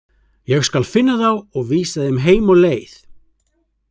Ég skal finna þá og vísa þeim heim á leið